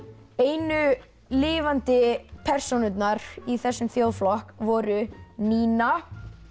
einu lifandi persónurnar í þessum þjóðflokk voru Nína